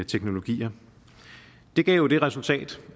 teknologier det gav jo det resultat